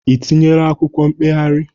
I tinyeela akwụkwọ mkpegharị?